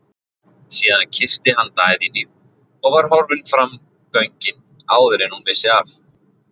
Síðan kyssti hann Daðínu og var horfinn fram göngin áður en hún vissi af.